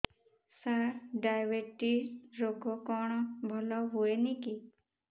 ସାର diabetes ରୋଗ କଣ ଭଲ ହୁଏନି କି